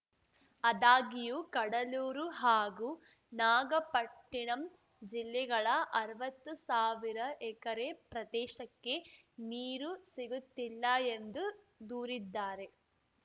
ಆದಾಗ್ಯೂ ಕಡಲೂರು ಹಾಗೂ ನಾಗಪಟ್ಟಿಣಂ ಜಿಲ್ಲೆಗಳ ಅರ್ವತ್ತು ಸಾವಿರ ಎಕರೆ ಪ್ರದೇಶಕ್ಕೆ ನೀರು ಸಿಗುತ್ತಿಲ್ಲ ಎಂದು ದೂರಿದ್ದಾರೆ